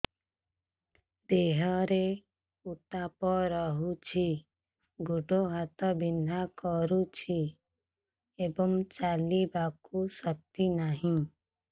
ଦେହରେ ଉତାପ ରହୁଛି ଗୋଡ଼ ହାତ ବିନ୍ଧା କରୁଛି ଏବଂ ଚାଲିବାକୁ ଶକ୍ତି ନାହିଁ